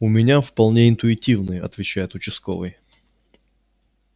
у меня вполне интуитивный отвечает участковый